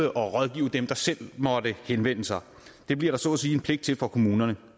dem der selv måtte henvende sig det bliver der så at sige en pligt til for kommunerne